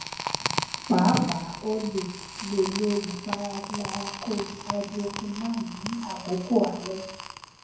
paapaa o le le lo ipara glyaha koj hydroquinone ni akoko alẹ